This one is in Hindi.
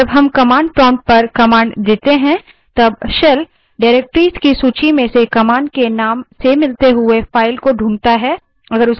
जब हम command prompt पर command देते हैं तब shell directories की सूची में से command के name से मिलती हुई file को ढूँढता है